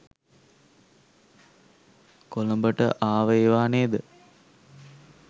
කොළඹට ආව ඒවා නේද?